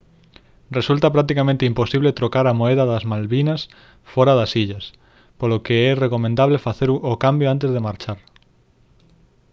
resulta practicamente imposible trocar a moeda das malvinas fóra das illas polo que é recomendable facer o cambio antes de marchar